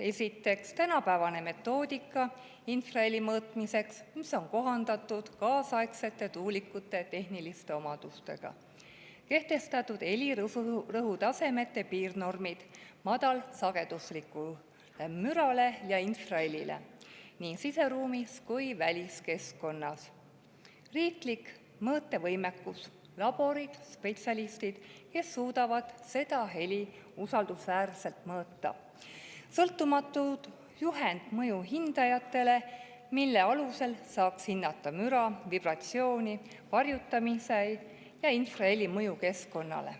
On olemas tänapäevane metoodika infraheli mõõtmiseks, mis on kohandatud kaasaegsete tuulikute tehniliste omadustega, on kehtestatud helirõhutasemete piirnormid madalsageduslikule mürale ja infrahelile nii siseruumis kui ka väliskeskkonnas, on olemas riiklik mõõtevõimekus, laborid ja spetsialistid, kes suudavad seda heli usaldusväärselt mõõta, samuti on sõltumatu juhend mõjuhindajatele, mille alusel saaks hinnata müra, vibratsiooni, varjutamise ja infraheli mõju keskkonnale.